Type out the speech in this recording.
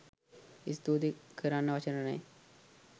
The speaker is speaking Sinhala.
ස්තූති කරන්න වචන නෑ.